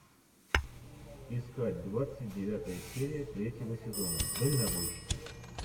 искать двадцать девятая серия третьего сезона дальнобойщики